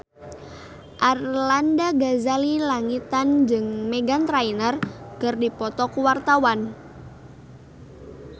Arlanda Ghazali Langitan jeung Meghan Trainor keur dipoto ku wartawan